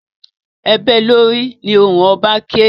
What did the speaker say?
E bée lórì! Ni ohùn oba ké!